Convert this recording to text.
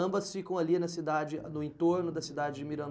Ambas ficam ali na cidade, no entorno da cidade de